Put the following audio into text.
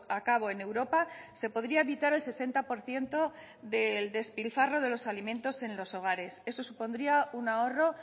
a cabo en europa se podría evitar el sesenta por ciento del despilfarro de los alimentos en los hogares eso supondría un ahorro